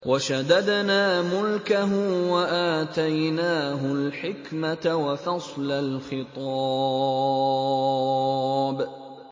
وَشَدَدْنَا مُلْكَهُ وَآتَيْنَاهُ الْحِكْمَةَ وَفَصْلَ الْخِطَابِ